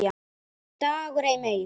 DAGUR EI MEIR